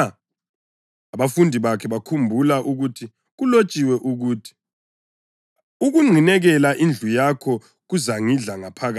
Abafundi bakhe bakhumbula ukuthi kulotshiwe ukuthi: “Ukunqinekela indlu yakho kuzangidla ngaphakathi.” + 2.17 AmaHubo 69.9